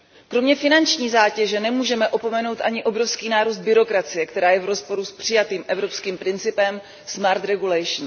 Kromě finanční zátěže nemůžeme opomenout ani obrovský nárůst byrokracie, která je v rozporu s přijatým evropským principem smart regulation